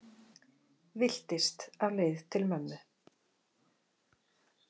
Villtist á leið til mömmu